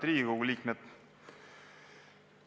Head Riigikogu liikmed!